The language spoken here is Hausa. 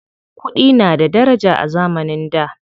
Kuɗi na da daraja a zamanin da.